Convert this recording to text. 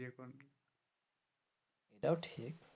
এটাও ঠিক.